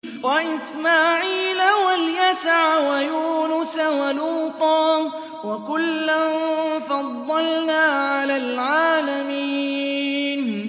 وَإِسْمَاعِيلَ وَالْيَسَعَ وَيُونُسَ وَلُوطًا ۚ وَكُلًّا فَضَّلْنَا عَلَى الْعَالَمِينَ